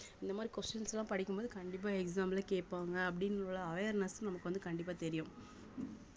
இந்த மாரி questions எல்லாம் படிக்கும் போது கண்டிப்பா exam ல கேப்பாங்க அப்படின்னு awareness நமக்கு வந்து கண்டிப்பா தெரியும்